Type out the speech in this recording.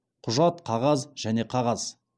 құжат қағаз және қағаз